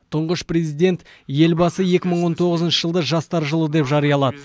тұңғыш президент елбасы екі мың он тоғызыншы жылды жастар жылы деп жариялады